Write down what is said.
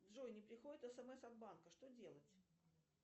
джой не приходит эс эм эс от банка что делать